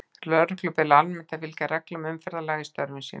Lögreglu ber almennt að fylgja reglum umferðarlaga í störfum sínum.